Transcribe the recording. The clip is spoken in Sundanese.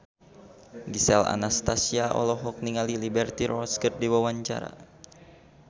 Gisel Anastasia olohok ningali Liberty Ross keur diwawancara